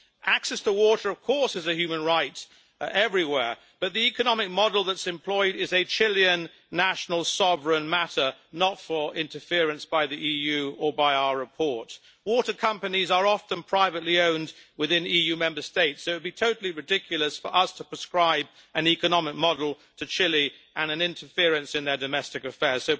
Access to water is, of course, a human right everywhere, but the economic model that is employed is a Chilean national sovereign matter, not for interference by the EU or by our report. Water companies are often privately owned within EU Member States, so it would be totally ridiculous for us to prescribe an economic model to Chile and interference in their domestic affairs.